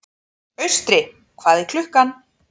Austri, hvað er klukkan?